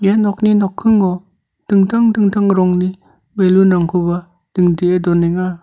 ia nokni nokkingo dingtang dingtang rongni ballon-rangkoba dingdee donenga.